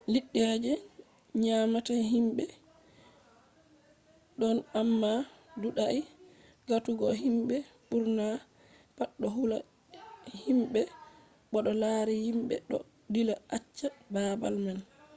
liddi je nyamata himbe don amma duudai gatugo himbe burna pat do hula himbe bo to lari himbe do dilla acca babal man